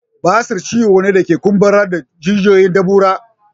Basir ciwo ne da ke kumburar da jijiyoyin dubura